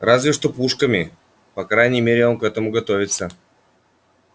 разве что пушками по крайней мере он к этому готовится